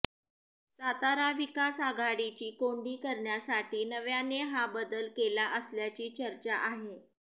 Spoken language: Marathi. सातारा विकास आघाडीची कोंडी करण्यासाठी नाविआने हा बदल केला असल्याची चर्चा आहे